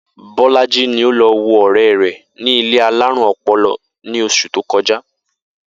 Bó̩lájí ni ó lo̩ wo ò̩ré̩ rè̩ ní ilé alárùn o̩po̩lo̩ ní os̩ù tó ko̩já